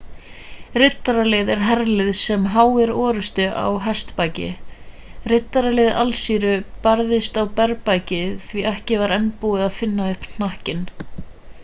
riddaralið er herlið sem háir orrustu á hestbaki riddaralið assýríu barðist á berbaki því ekki var enn búið að finna upp hnakkinn